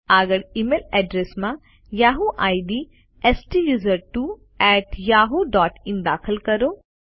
આગળ email address માં Yahoo ID STUSERTWOYAHOOIN દાખલ કરો